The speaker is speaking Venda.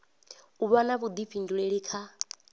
u vha na vhuḓifhinduleli kha